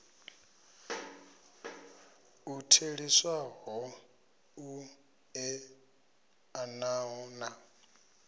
u theliswaho u eḓanaho na